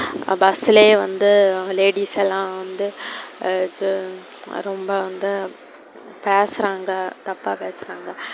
bus லே வந்து அவங்க ladies எல்லாம் வந்து அது ரொம்ப வந்து பேசுறாங்க தப்பா பேசுறாங்க.